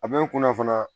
A bɛ n kunna fana